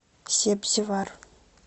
себзевар